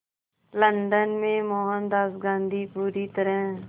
London में मोहनदास गांधी पूरी तरह